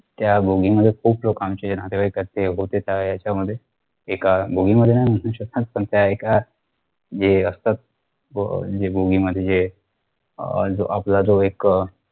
त्या बोगीमध्ये खूप लोकांचे नातेवाईक असते होते ते यांच्यामध्ये एका बोगीमध्ये नाही घुसू शकत पण त्या एका जे असतात बो अह जे बोगीमध्ये जे अह आपला जो एक अह